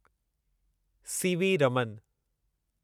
C V Raman